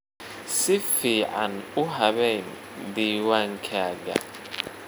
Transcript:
Si fiican u habeyn diiwaankaaga.